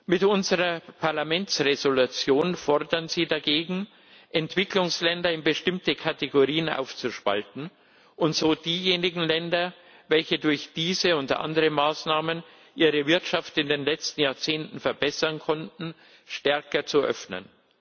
Mit unserer Parlamentsentschließung fordern Sie dagegen, Entwicklungsländer in bestimmte Kategorien aufzuspalten und so diejenigen Länder, welche durch diese und andere Maßnahmen ihre Wirtschaft in den letzten Jahrzehnten verbessern konnten, stärker zu öffnen.